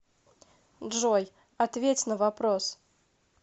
джой ответь на вопрос